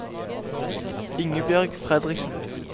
Ingebjørg Fredriksen